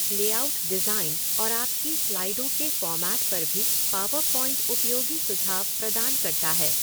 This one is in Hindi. लेआउट डिज़ाइन और आपकी स्लाइडों के फ़ॉर्मेट पर भी पॉवर पॉइंट उपयोगी सुझाव प्रदान करता है।